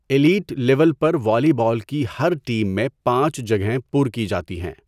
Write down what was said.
Elite level پر volleyball کی ہر ٹیم میں پانچ جگہیں پُر کی جاتی ہیں۔